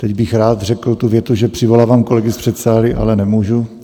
Teď bych rád řekl tu větu, že přivolávám kolegy z předsálí, ale nemůžu.